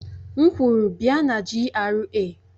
M kwuru, bia na GRA!